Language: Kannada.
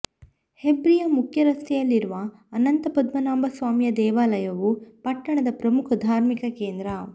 ಹೆಬ್ರಿಯ ಮುಖ್ಯ ರಸ್ತೆಯಲ್ಲಿರುವ ಅನಂತ ಪದ್ಮನಾಭಸ್ವಾಮಿಯ ದೇವಾಲಯವು ಪಟ್ಟಣದ ಪ್ರಮುಖ ಧಾರ್ಮಿಕ ಕೇಂದ್ರ